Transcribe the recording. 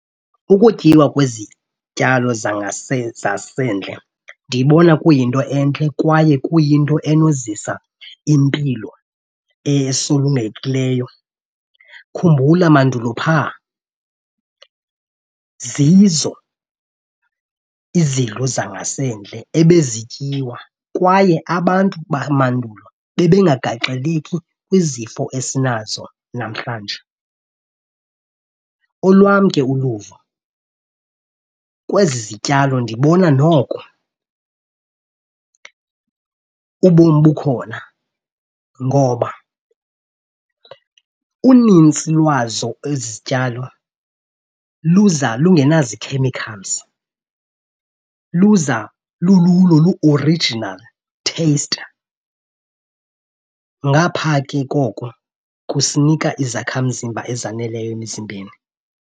Ukutyiwa kwezityalo zasendle ndiyibona kuyinto entle kwaye kuyinto enozisa impilo esulungekileyo. Khumbula mandulo phaa zizo izidlo zangasendle ebezityiwa kwaye abantu bamandulo bebengagagxeleki kwizifo esinazo namhlanje. Olwam ke uluvo kwezi zityalo ndibona noko ubomi bukhona ngoba unintsi lwazo ezi zityalo luza lungenazi-chemicals, luza lululo lu-original taste. Ngapha ke koko kusinika izakhamzimba ezaneleyo emzimbeni.